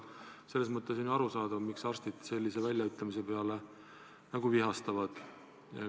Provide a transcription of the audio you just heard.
Ning selles mõttes on arusaadav, miks arstid sellise väljaütlemise peale vihastavad.